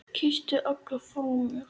Kysstu alla frá mér.